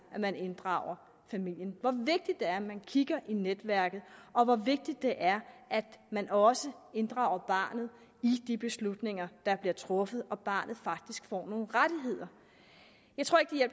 at man inddrager familien hvor vigtigt det er at man kigger i netværket og hvor vigtigt det er at man også inddrager barnet i de beslutninger der bliver truffet og at barnet faktisk får nogle rettigheder jeg tror ikke